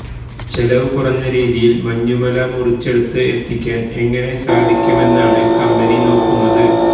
ചെലവ് കുറഞ്ഞ രീതിയില് മഞ്ഞുമല മുറിച്ചെടുത്ത് എത്തിക്കാന് എങ്ങനെ സാധിക്കുമെന്നാണ് കമ്പനി നോക്കുന്നത്